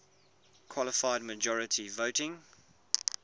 qualified majority voting